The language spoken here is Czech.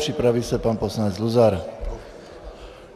Připraví se pan poslanec Luzar.